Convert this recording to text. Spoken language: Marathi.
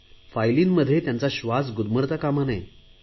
फाईलींमध्ये त्यांचा श्वास गुदमरता कामा नये